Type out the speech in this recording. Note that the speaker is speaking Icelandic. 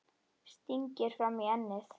Stingir fram í ennið.